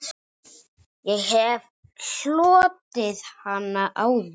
Ég hef hlotið hana áður.